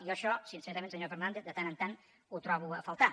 jo això sincerament senyor fernàndez de tant en tant ho trobo a faltar